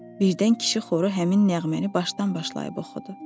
Birdən kişi xoru həmin nəğməni başdan başlayıb oxudu.